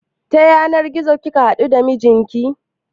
Ta yanar gizo kika haɗu da mijinki?